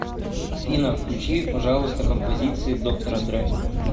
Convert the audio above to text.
афина включи пожалуйста композиции доктора дре